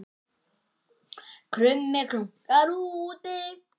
Krummi krunkar úti